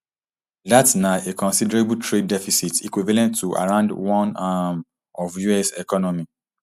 dat na a considerable trade deficit equivalent to around one um of us economy